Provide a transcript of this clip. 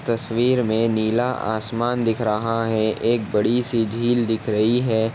तस्वीर में नीला आसमान दिख रहा है। एक बड़ी सी झील दिख रही है।